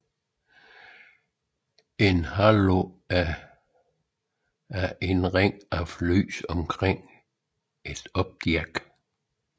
En Halo er en ring af lys omkring et objekt